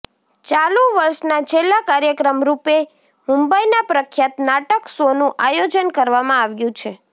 ચાલુ વષના છેલ્લા કાર્યક્રમ રુપે મુંબઇના પ્રખ્યાત નાટક શોનું આયોજન કરવામાં આવ્યું છે